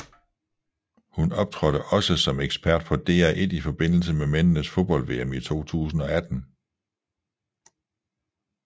Hun optrådte også som ekspert på DR1 i forbindelse med mændenes fodbold VM i 2018